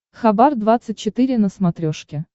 хабар двадцать четыре на смотрешке